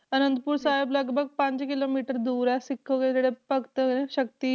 ਆਨੰਦਪੁਰ ਸਾਹਿਬ ਲਗਪਗ ਪੰਜ ਕਿੱਲੋਮੀਟਰ ਦੂਰ ਹੈ ਸਿੱਖ ਉਹਦੇ ਜਿਹੜੇ ਭਗਤ ਸ਼ਕਤੀ